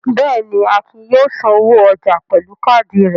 Bẹ́ẹ̀ ni, Akin yóò sanwó ọjà pẹ̀lú káádì rẹ̀.